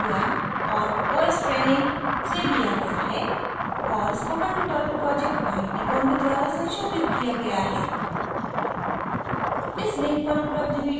यह video acquia और os training से लिया गया है और spoken tutorial project IIT Bombay से संशोधित किया गया